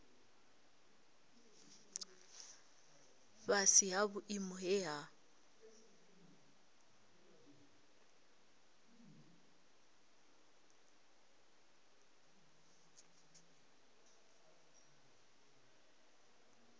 fhasi ha vhuimo he ha